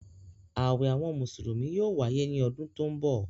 Àwẹ̀ àwọn Mùsùlùmí yóò wáyé ní ọdún tó ń bọ̀.